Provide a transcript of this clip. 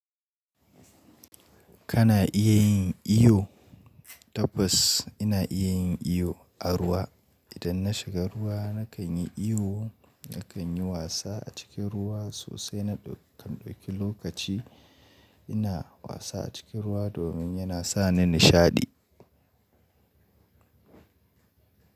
Kana iya yin iyo? Tabbas ina iya yin iyo a ruwa. Idan na shiga ruwa nakan yi iyo, nakan yi wasa a cikin ruwa sosai na ɗauki lokaci ina wasa a cikin ruwa domin yana sa ni nishaɗi.